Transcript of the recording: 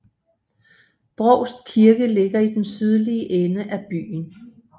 Brovst Kirke ligger i den sydlige ende af byen